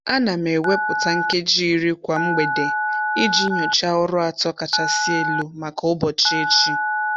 A na m ewepụta nkeji iri kwa mgbede iji nyochaa ọrụ atọ kachasị elu maka ụbọchị echi.